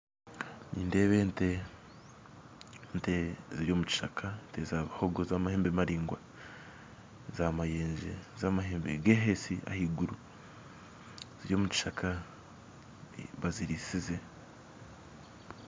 Nindeeba ente ziri omukishaka ente za bihogo z'amahembe maraingwa za mayenje z'amahembe gehesi ahaiguru ziri omukishaka bazirisize.